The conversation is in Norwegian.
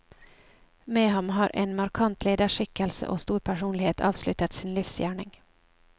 Med ham har en markant lederskikkelse og stor personlighet avsluttet sin livsgjerning.